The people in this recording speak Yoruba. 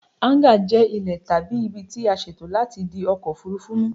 Háńgà jẹ ile tabi ibi tí a ṣètò láti di ọkọ̀ òfúrufú mu